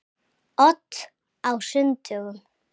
Odd á sunnudögum.